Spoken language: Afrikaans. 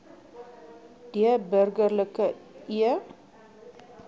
d burgerlike e